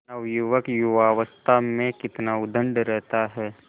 नवयुवक युवावस्था में कितना उद्दंड रहता है